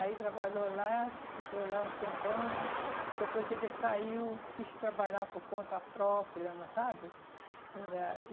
Aí trabalhou lá, ficou lá um tempão, depois ele saiu, quis trabalhar por conta própria, não sabe? Era